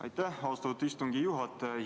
Aitäh, austatud istungi juhataja!